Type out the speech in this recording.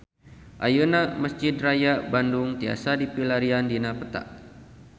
Ayeuna Mesjid Raya Bandung tiasa dipilarian dina peta